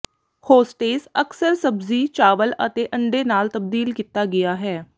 hostess ਅਕਸਰ ਸਬਜ਼ੀ ਚਾਵਲ ਅਤੇ ਅੰਡੇ ਨਾਲ ਤਬਦੀਲ ਕੀਤਾ ਗਿਆ ਹੈ